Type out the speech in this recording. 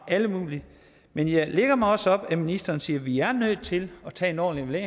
og alle mulige men jeg lægger mig også op ad at ministeren siger at vi er nødt til at tage en ordentlig